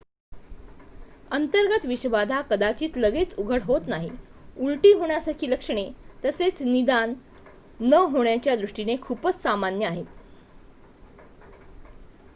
अंतर्गत विषबाधा कदाचित लगेच उघड होत नाही उलटी होण्यासारखी लक्षणे लगेच निदान न होण्याच्या दृष्टीने खूपच सामान्य आहेत